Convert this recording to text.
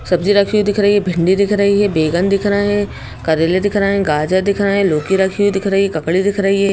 सब्जी रखी हुई दिख रही है भिंडी दिख रही है बेगन दिख रहे हैं करेले दिख रहे हैं गाजर दिख रहे हैं लोकी रखी हुई दिख रही है ककड़ी दिख रही--